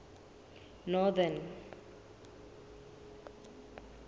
northern